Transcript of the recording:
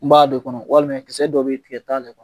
N b'a d'o kɔnɔ walima kisɛ dɔ be ye tigɛ t'ale kɔnɔ.